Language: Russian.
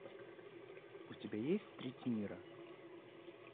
у тебя есть треть мира